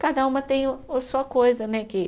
Cada uma tem o, a sua coisa, né que?